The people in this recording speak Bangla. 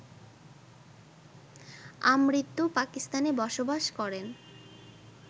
আমৃত্যু পাকিস্তানে বসবাস করেন